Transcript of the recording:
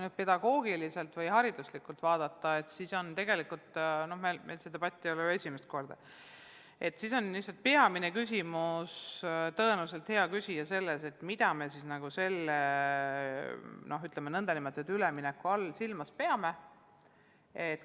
Kui pedagoogiliselt või hariduslikult vaadata, siis tegelikult – meil see debatt ei ole ju esimest korda – on peamine küsimus tõenäoliselt, hea küsija, selles, mida me siis selle nn ülemineku all silmas peame.